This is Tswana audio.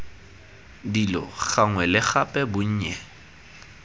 dilo gangwe le gape bonnye